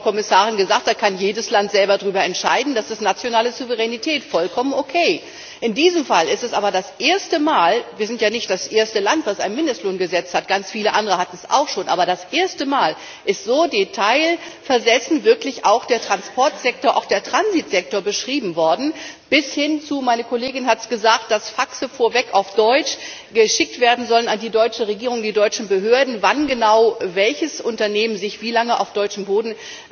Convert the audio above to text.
Das hat die Frau Kommissarin gesagt Darüber kann jedes Land selber entscheiden, das ist nationale Souveränität vollkommen okay. In diesem Fall ist es aber das erste Mal wir sind ja nicht das erste Land, das ein Mindestlohngesetz hat, ganz viele andere hatten es auch schon dass der Transportsektor, auch der Transitsektor, so detailversessen beschrieben worden ist, bis dahin meine Kollegin hat es gesagt dass Faxe vorweg auf Deutsch geschickt werden sollen an die deutsche Regierung, die deutschen Behörden, wann genau welches Unternehmen sich wie lange auf deutschem Boden